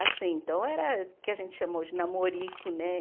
Assim, então era o que a gente chamou de namorico, né?